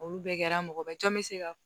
Olu bɛɛ kɛra mɔgɔba jɔn bɛ se ka